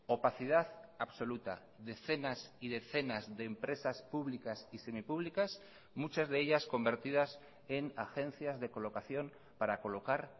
opacidad absoluta decenas y decenas de empresas públicas y semipúblicas muchas de ellas convertidas en agencias de colocación para colocar